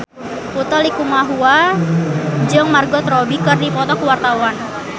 Utha Likumahua jeung Margot Robbie keur dipoto ku wartawan